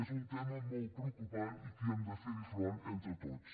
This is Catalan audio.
és un tema molt preocupant i que hi hem de fer front entre tots